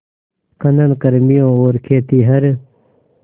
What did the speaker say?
खनन कर्मियों और खेतिहर